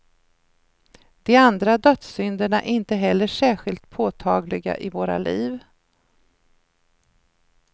De andra dödssynderna är inte heller särskilt påtagliga i våra liv.